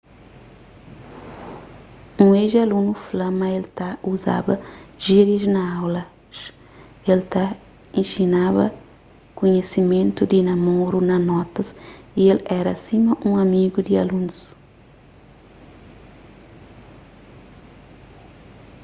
un ex-alunu fla ma el ta uzaba jírias na aulas el ta inxinaba kunhisimentu di namoru na notas y el éra sima un amigu di alunus